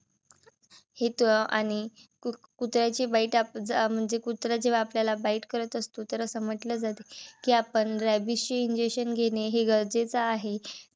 हे त आणि कुत्र्याचे bite आप ज म्हणजे कुत्र जेव्हा आपल्याला bite करत असतो तर अस म्हटल जात कि आपण rabies injection घेणे हे गरजेच आहे.